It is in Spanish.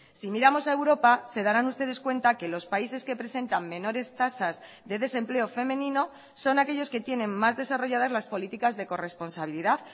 si miramos a europa se darán ustedes cuenta que los países que presentan menores tasas de desempleo femenino son aquellos que tienen más desarrolladas las políticas de corresponsabilidad